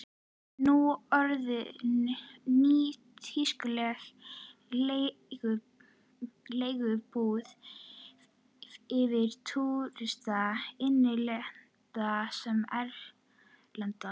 Nú orðinn nýtískuleg leiguíbúð fyrir túrista, innlenda sem erlenda.